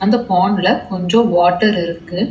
இந்த பாண்டுல கொஞ்சோ வாட்டர் இருக்கு. ‌